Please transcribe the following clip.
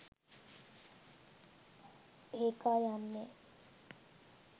ඒකා යන්නේ